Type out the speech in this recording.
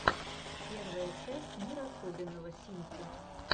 первая часть мир особенного симки